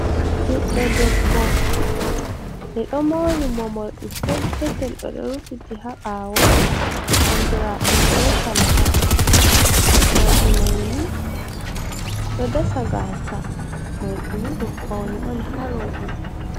ɓiɗɗo debbo "ɓe ɗo mori mo morɗi pet petel, ɓeɗo rufiti haɓawo andiraɗum be kalaba. Morɗimaini ɗo dasa gasa, mordini ɗum fawne on ha robe.